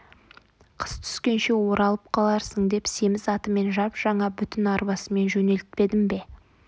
қыс түскенше оралып қаларсың деп семіз атымен жап-жаңа бүтін арбасымен жөнелтпедім бе